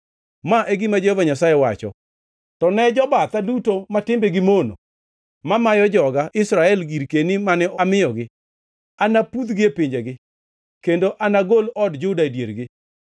Ma e gima Jehova Nyasaye wacho: “To ne jobatha duto ma timbegi mono mamayo joga Israel girkeni mane amiyogi, anapudhgi e pinjegi kendo anagol od Juda e diergi.